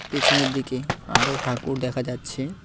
পেছনের দিকে আরও ঠাকুর দেখা যাচ্ছে।